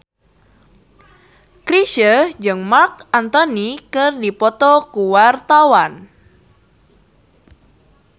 Chrisye jeung Marc Anthony keur dipoto ku wartawan